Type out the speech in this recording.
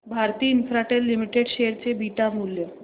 Bharti Infratel limited share चे beta मूल्य